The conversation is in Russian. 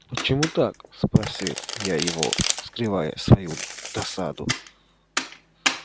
почему так спросил я его скрывая свою досаду